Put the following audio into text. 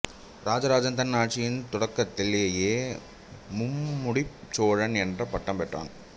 இராஜராஜன் தன் ஆட்சியின் தொடக்கத்திலேயே மும்முடிச் சோழன் என்ற பட்டம் பெற்றான்